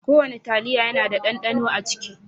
Ko wanna taliya yana da ɗanɗano a ciki.